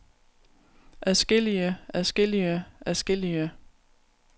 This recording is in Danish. adskillige adskillige adskillige